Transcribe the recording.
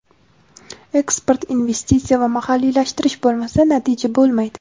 "Eksport, investitsiya va mahalliylashtirish bo‘lmasa, natija bo‘lmaydi".